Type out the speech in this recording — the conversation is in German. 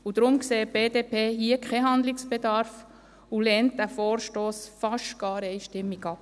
Deshalb sieht die BDP hier keinen Handlungsbedarf und lehnt diesen Vorstoss beinahe einstimmig ab.